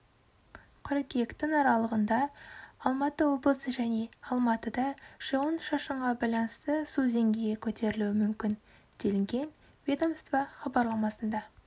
қыркүйектің аралығында алматы облысы және алматыда жауын шашынға байланысты су деңгейі көтерілуі мүмкін делінген ведомство хабарламасында